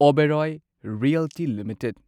Oberoi Realty limited